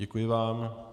Děkuji vám.